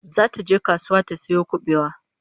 Zata je kasuwa ta sayo kubewa